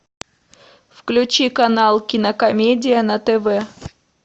включи канал кинокомедия на тв